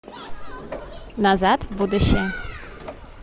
назад в будущее